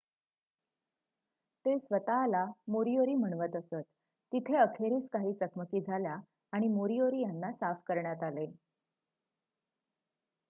ते स्वत:ला मोरीओरी म्हणवत असत तिथे अखेरीस काही चकमकी झाल्या आणि मोरीओरी यांना साफ करण्यात आले